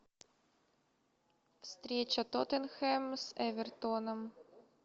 встреча тоттенхэм с эвертоном